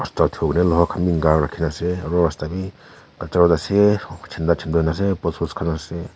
enka rakhe kena ase aro rusta be kaja road ase opo chanda chanda khan ase post post khan ase.